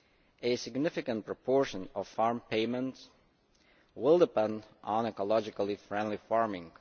A significant proportion of farm payments will depend on ecologically friendly farming.